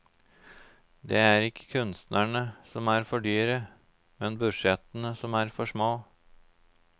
Det er ikke kunstnerne som er for dyre, men budsjettene som er for små.